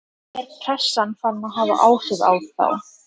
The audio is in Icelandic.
Er pressan farin að hafa áhrif á þá?